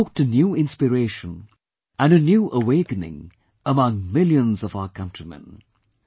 They have evoked a new inspiration and a new awakening among millions of our countrymen